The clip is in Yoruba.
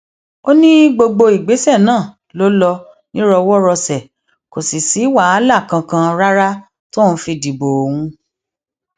ó ní gbogbo ìgbésẹ náà ló lọ nírọwọrọsẹ kò sì sí wàhálà kankan rárá tóun fi dìbò òun